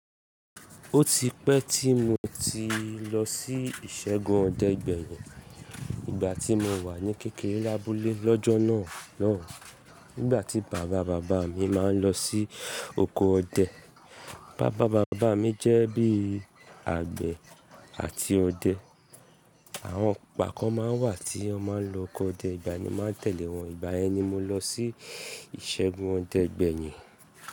Ó ti pẹ́ tí mo ti lọ sí ìṣẹ́gun ọdẹ gbẹyìn. Ìgbá tí mo wà ní kékeré lábúlé lọ́jọ́ náà náà. Nígbà tí bàba bàbá mi má n lọ sí oko ọdẹ. Bàba bàbá mi jẹ́ bí àgbẹ̀ àti ọdẹ. Àwọn igba kan má n wà tí wọn má n lọ oko ọdẹ, ìgbà ni mo má n tẹ̀lé wọn. Ìgbà yẹn ni mo lọ sí ìṣẹ́gun ọdẹ gbẹyìn.